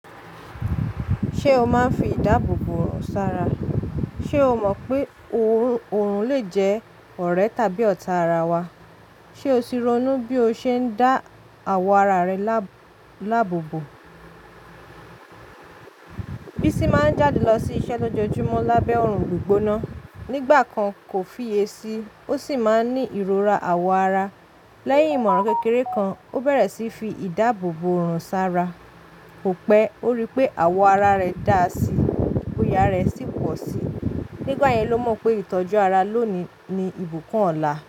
Ṣé o máa ń fi ìdáàbò bò ọ̀rùn sára? Ṣé o mọ̀ pé òorùn lè jẹ́ ọ̀rẹ́ tàbí ọ̀tá ara wa? Ṣé o ti ronú bí o ṣe ń dá àwọ̀ ara rẹ láàbò bò? Bísí máa ń jáde lọ sí iṣẹ́ lójoojúmọ́ lábẹ́ òrùn gbígbóná. Nígbà kan kò fiye sí, ó sì máa ń ní ìrora àwọ̀ ara. Lẹ́yìn ìmọ̀ràn kékeré kan, ó bẹ̀rẹ̀ sí fi ìdáàbò bò òorùn sára. Ko pẹ́, ó rí pé àwọ̀ ara rẹ dà á sí i, bòyà ara ẹ̀ sì pọ̀ sí i. Nígbà yẹn ló mọ̀ pé ìtọ́jú ara lónìí ni ìbùkún ọ̀la.